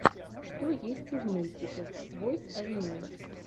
что есть из мультиков бойс авеню